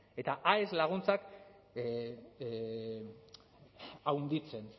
eta aes laguntzak handitzen